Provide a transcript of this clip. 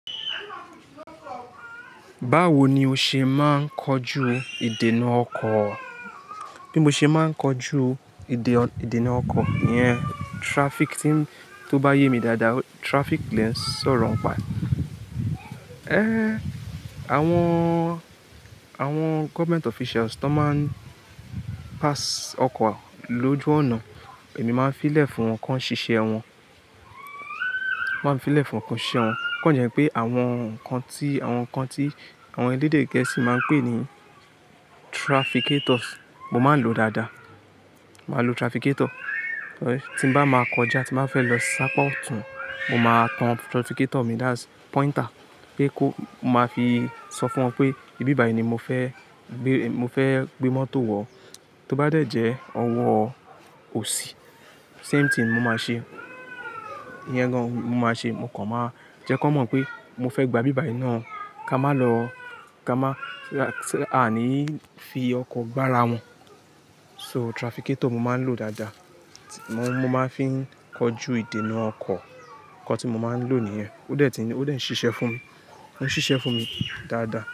Báwo ni o ṣe máa ń kojú ìdènà ọkọ̀? Bí mo ṣe máa ń kojú ìdènà ọkọ̀, ìyẹn traffic, tí ó bá yè mí dáadáa, traffic lẹ n sọ̀rọ̀ n pà ẹ. Éh, àwọn, àwọn government officials tó máa ń pass ọkọ̀ lójú ọ̀nà, èmi máa ń fi lẹ fún wọn kí wọ́n sìṣe ẹ wọn. Máa ń fi lẹ fún wọn kí wọ́n siṣe ẹ wọn. O kọ́ jẹ́ pé àwọn nǹkan tí, àwọn nǹkan tí àwọn elédè gẹ̀ẹ́sì máa ń pè ní trafficators, mo máa ń lòó dáadáa. Mo máa ń lò trafficator. Torí tí n bá máa kọjá tí bá fẹ́ lọ sápa ọ̀tún, mo máa tan trafficator mi that's pointer pé kó, mo máa fi sọ fún wọn pé ibi báyìí ni mo fẹ́ gbé, mo fẹ́ gbé mọ́tò wọ̀. Tí ó bá dẹ̀ jẹ́ ọwọ́ òsì, same thing mo máa ṣe. Iyẹn gan-an mo máa ṣe. Mo kàn máa jẹ́ kí wọ́n mọ̀ pé mo fẹ́ gba ibi báyìí náà ká má lọ, ká má, so that a à ní fi ọkọ̀ gbá ara wọn. So trafficator mo máa ń lòó dáadáa. Mo máa ń fi ń kojú ìdènà ọkọ̀. Nnkan tí mo máa ń lò níyẹn. Ó dẹ̀ ti ń, ó dẹ̀ ń ṣiṣẹ́ fún mi. Ó ń ṣiṣẹ́ fún mi dáadáa.